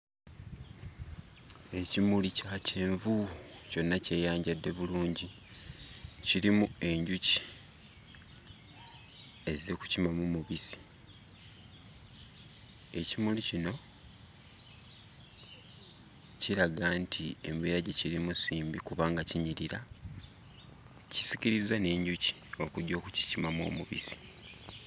Ekimuli kya kyenvu kyonna kyeyanjadde bulungi, kirimu enjuki ezze kukimamu mubissi. Ekimuli kino kiraga nti embeera gye kirimu si mbi kubanga kinyirira, kisikirizza n'enjuki okujja okukikimamu omubissi.